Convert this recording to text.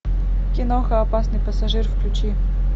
киноха опасный пассажир включи